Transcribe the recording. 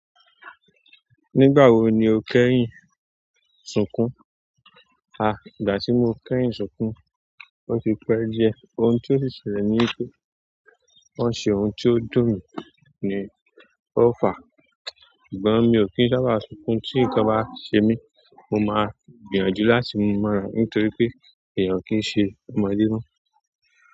Nígbà wo ni o kẹ́yìn sunkùn? Ha, ìgbà ti mo kẹ́yìn sunkun oti pẹ diẹ, ohun ti o si ṣẹlẹ̀ ni wípé, wọn ṣe ohun ti o dùn mi ni o fa ṣùgbọ́n mi ò kí ń sábà sunkún tí nǹkan bá ṣe mí, mo máa gbìyànjú láti mú mọra ni torí pé èèyàn kìí ṣe ọmọ alẹ́ mọ́.